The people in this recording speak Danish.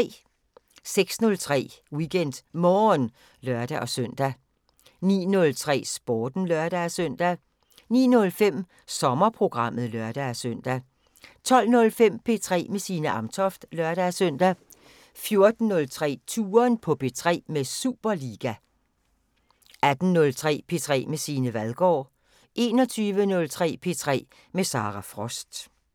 06:03: WeekendMorgen (lør-søn) 09:03: Sporten (lør-søn) 09:05: Sommerprogrammet (lør-søn) 12:05: P3 med Signe Amtoft (lør-søn) 14:03: Touren på P3 med Superliga 18:03: P3 med Signe Vadgaard 21:03: P3 med Sara Frost